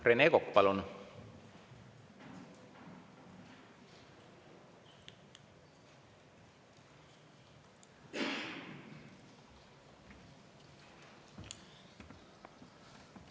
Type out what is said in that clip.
Rene Kokk, palun!